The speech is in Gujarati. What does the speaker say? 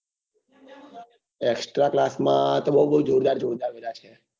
extra class માં તો બઉ બઉ જોરદાર જોરદાર બધા છે